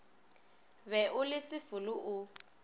be o le sefolo o